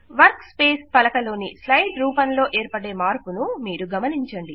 work space పలక లోని slide రూపములో ఏర్పడే మార్పును మీరు గమనించండి